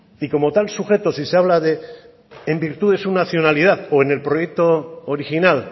y como tal sujeto si se habla de en virtud de su nacionalidad o en el proyecto original